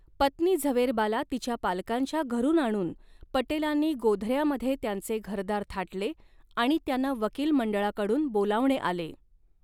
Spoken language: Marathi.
पत्नी झवेरबाला तिच्या पालकांच्या घरून आणून, पटेलांनी गोधऱ्यामध्ये त्यांचे घरदार थाटले आणि त्यांना वकील मंडळाकडून बोलावणे आले.